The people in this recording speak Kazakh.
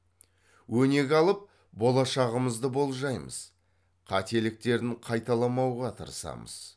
өнеге алып болашағымызды болжаймыз қателіктерін қайталамауға тырысамыз